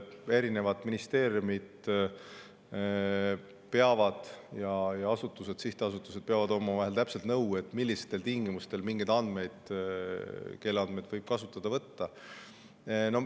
Erinevad ministeeriumid ja asutused, sihtasutused peavad omavahel nõu, täpselt millistel tingimustel mingeid andmeid ja kelle andmeid võib kasutada võtta.